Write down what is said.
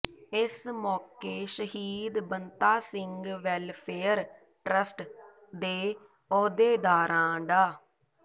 ਇਸ ਮੌਕੇ ਸ਼ਹੀਦ ਬੰਤਾ ਸਿੰਘ ਵੈੱਲਫੇਅਰ ਟਰੱਸਟ ਦੇ ਅਹੁਦੇਦਾਰਾਂ ਡਾ